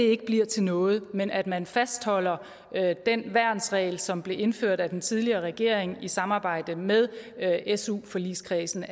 ikke bliver til noget men at man naturligvis fastholder den værnsregel som blev indført af den tidligere regering i samarbejde med su forligskredsen